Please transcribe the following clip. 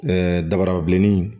Ɛɛ dabarabilenni